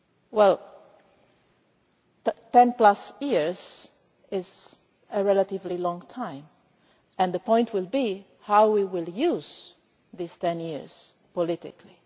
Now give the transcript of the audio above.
Well, 10 plus years' is a relatively long time and the point will be how we use these 10 years politically.